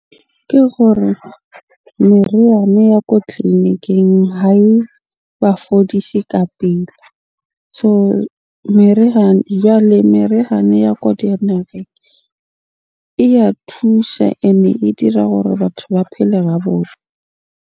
Ke gore meriana ya ko tleliniking ha e ba fodise ka pele. So jwale merihana ya ko e ya thusha. Ene e dira hore batho ba phele ha .